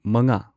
ꯃꯉꯥ